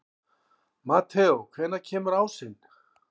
Mateó, hvenær kemur ásinn?